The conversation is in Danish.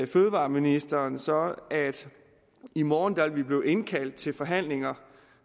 fødevareministeren så at i morgen vil vi blive indkaldt til forhandlinger